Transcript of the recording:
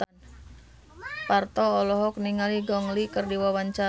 Parto olohok ningali Gong Li keur diwawancara